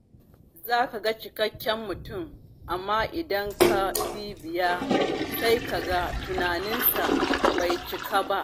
Za ka ga cikakken mutum, amma idan ka bibiya sai kaga tunaninsa bai cika ba.